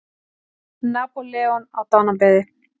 Napóleon á dánarbeði.